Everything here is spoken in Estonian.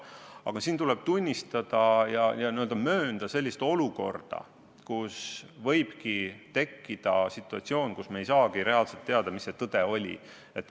Aga siin tuleb tunnistada, et võibki tekkida olukord, kus me ei saagi reaalselt teada, mis see tõde on.